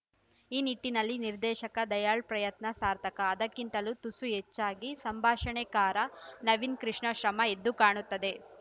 ಆ ನಿಟ್ಟಿನಲ್ಲಿ ನಿರ್ದೇಶಕ ದಯಾಳ್‌ ಪ್ರಯತ್ನ ಸಾರ್ಥಕ ಅದಕ್ಕಿಂತಲೂ ತುಸು ಹೆಚ್ಚಾಗಿ ಸಂಭಾಷಣೆಕಾರ ನವೀನ್‌ ಕೃಷ್ಣ ಶ್ರಮ ಎದ್ದು ಕಾಣುತ್ತದೆ